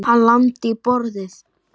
Hann lamdi í borðið.